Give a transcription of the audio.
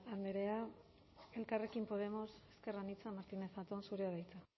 andea elkarrekin podemos ezker anitza martínez zatón zurea da hitza